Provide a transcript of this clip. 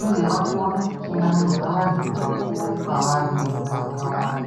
uye vakone kuchingamidza vantu vakuru kwavari mumuganga wavo.